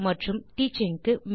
மற்றும் டீச்சிங் க்கு